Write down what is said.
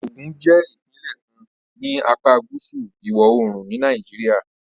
Ogun jẹ́ ìpínlẹ̀ kan ní apá gúúsù ìwọ̀-oòrùn ni Nàìjíríà